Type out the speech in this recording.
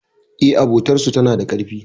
E, abotar su tana da karfi.